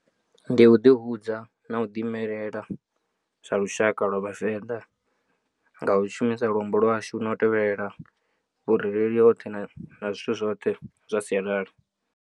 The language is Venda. Ndi u ḓihudza na u ḓi imelela sa lushaka lwa vhavenḓa nga u shumisa luambo lwashu na u tevhelela vhurereli hoṱhe na zwithu zwoṱhe zwa sialala.